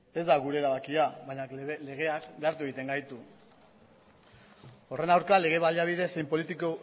ez da gure erabakia baina legeak behartu egiten gaitu horren aurka lege baliabide